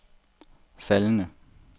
faldende